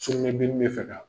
Sugunɛbilennin bɛ fɛ ka